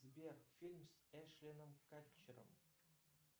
сбер фильм с эштоном катчером